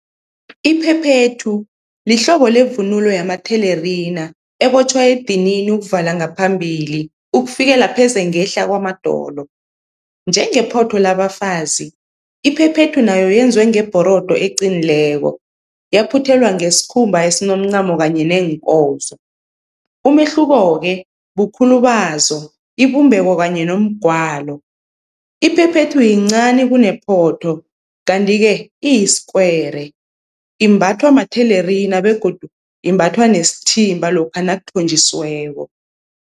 Iphephethu lihlobo levunulo yamathelerina ebotjhwa edinini ukuvala ngaphambili, ukufikela pheze ngehla kwamadolo. Njengephotho labafazi, iphephethu nayo yenziwe ngebhorodo eqinileko yaphuthelwa ngesikhumba esinomncamo kanye neenkozo. Umehluko-ke bukhulu bazo, ibumbeko kanye nomgwalo, iphephethu yincani kunephotho kanti-ke iyiskwere. Imbathwa mathelerina begodu imbathwa nesithimba lokha nakuthonjisiweko.